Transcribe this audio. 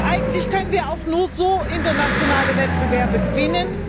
Eigentlich können wir auch nur so im internationalen Wettbewerb bestehen.